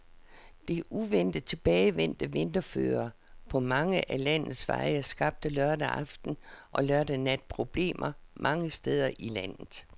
Det uventet tilbagevendte vinterføre på mange af landets veje skabte lørdag aften og lørdag nat problemer mange steder i landet.